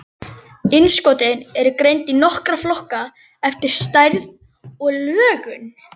Innskotin eru greind í nokkra flokka eftir stærð og lögun.